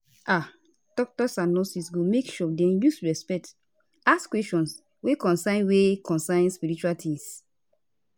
ah doctors and nurses go make sure dem use respect ask questions wey concern wey concern spiritual tings